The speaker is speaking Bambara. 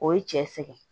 O ye cɛ sɛgɛn